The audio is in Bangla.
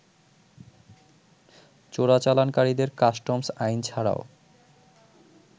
চোরাচালানকারীদের কাস্টমস আইন ছাড়াও